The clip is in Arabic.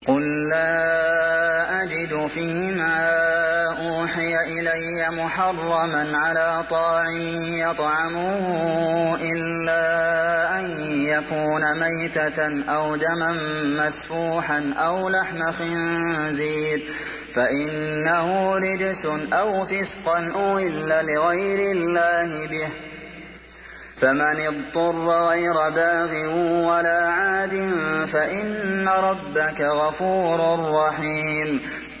قُل لَّا أَجِدُ فِي مَا أُوحِيَ إِلَيَّ مُحَرَّمًا عَلَىٰ طَاعِمٍ يَطْعَمُهُ إِلَّا أَن يَكُونَ مَيْتَةً أَوْ دَمًا مَّسْفُوحًا أَوْ لَحْمَ خِنزِيرٍ فَإِنَّهُ رِجْسٌ أَوْ فِسْقًا أُهِلَّ لِغَيْرِ اللَّهِ بِهِ ۚ فَمَنِ اضْطُرَّ غَيْرَ بَاغٍ وَلَا عَادٍ فَإِنَّ رَبَّكَ غَفُورٌ رَّحِيمٌ